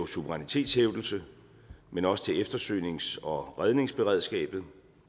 suverænitetshævdelse men også til eftersøgnings og redningsberedskabet